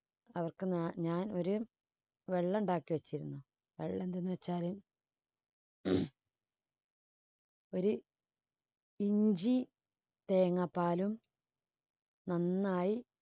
അവർക്ക് ഞാ~ഞാൻ ഒര് വെള്ളണ്ടാക്കി വെച്ചിരുന്നു. അത് എന്തെന്ന് വെച്ചാല് ഒര് ഇഞ്ചി തേങ്ങാപാലും നന്നായി